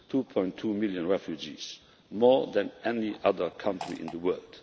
2.2 million refugees more than any other country in the world.